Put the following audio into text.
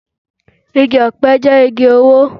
Igi ọ̀pẹ jẹ́ igi owó